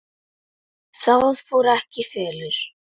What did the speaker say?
Það fór ekki í felur.